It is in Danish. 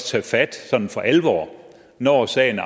tage fat sådan for alvor når sagen